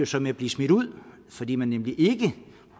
så med at blive smidt ud fordi man nemlig ikke